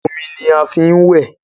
omí ní a fín wẹ.